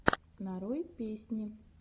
нарой песни